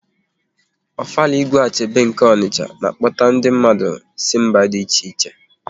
Ofala Igwe Achebe nke Ọnicha na-akpọta ndi mmadụ si mba dị iche iche